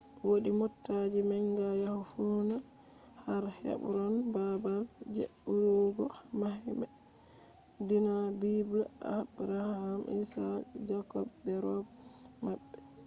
wodi motaji manga yahugo funaa har hebron babal je irugo mahbe dina bible abraham isaac jacob be robe mabbe